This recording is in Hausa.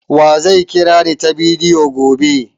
Wa zai kirani ta bidiyo gobe?